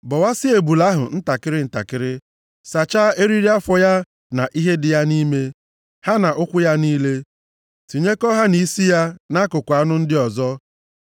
Bọwasịa ebule ahụ ntakịrị ntakịrị, sachaa eriri afọ ya na ihe dị ya nʼime, ha na ụkwụ ya niile, tinyekọ ha na isi ya na akụkụ anụ ndị ọzọ.